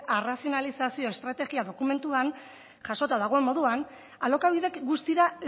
arrazionalizazio estrategia dokumentuan jasota dagoen moduan alokabidek guztira